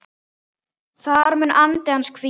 Þar mun andi hans hvíla.